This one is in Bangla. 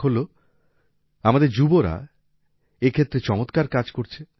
এক হল আমাদের যুবরা এই ক্ষেত্রে চমতকার কাজ করছে